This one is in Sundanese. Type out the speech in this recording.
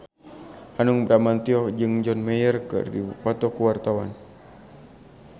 Hanung Bramantyo jeung John Mayer keur dipoto ku wartawan